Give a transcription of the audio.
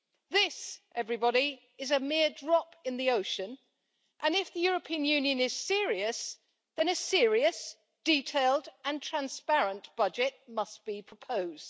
This, everybody, is a mere drop in the ocean, and if the European Union is serious, then a serious, detailed and transparent budget must be proposed.